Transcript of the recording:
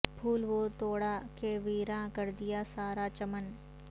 پھول وہ توڑا کہ ویراں کر دیا سارا چمن